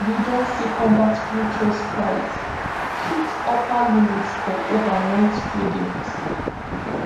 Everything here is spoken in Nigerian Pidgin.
we don see combat futures price hit upper limit for overnight tradings